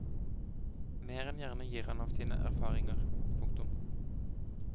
Mer enn gjerne gir han av sine erfaringer. punktum